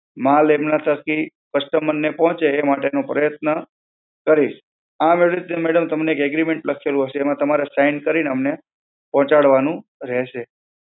માલ એમનાં થકી customer ને પહોંચે એ માટેનો પ્રયત્ન કરીશ. આમ એવી રીતે madam તમને એક agreement લખેલું હશે, એમાં તમારા sign કરીને અમને પહોંચાડવાનું રહેશે.